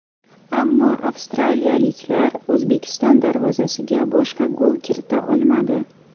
Ammo avstraliyaliklar O‘zbekiston darvozasiga boshqa gol kirita olmadi.